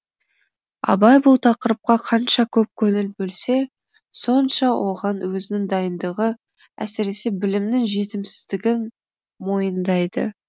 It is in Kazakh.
абай бұл тақырыпқа қанша көп көңіл бөлсе сонша оған өзінің дайындығы әсіресе білімнің жетімсіздігін мойындайды